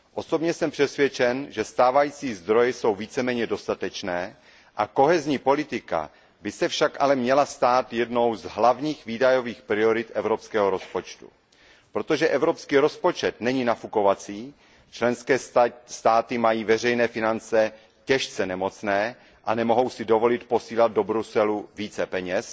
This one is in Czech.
Osobně jsem přesvědčen, že stávající zdroje jsou víceméně dostatečné, politika soudržnosti by se však měla stát jednou z hlavních výdajových priorit evropského rozpočtu. Protože evropský rozpočet není nafukovací, členské státy mají veřejné finance těžce nemocné a nemohou si dovolit posílat do Bruselu více peněz,